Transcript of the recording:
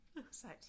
Sejt